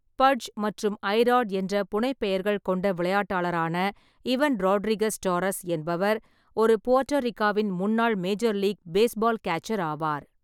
பட்ஜ்' மற்றும் 'ஐ-ராட்' என்ற புனைப்பெயர்கள் கொண்ட விளையாட்டாளரான இவன் ராட்ரிகஸ் டாரஸ் என்பவர் ஒரு போட்டரீக்காவின் முன்னாள் மேஜர் லீக் பேஸ்பால் கியாச்சர் ஆவார்.